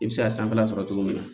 I bɛ se ka sanfɛla sɔrɔ cogo min na